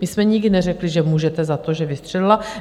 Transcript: My jsme nikdy neřekli, že můžete za to, že vystřelila.